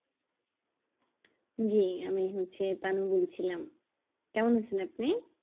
জি আমি হচ্ছে তানু বলছিলাম কেমন আছেন আপনি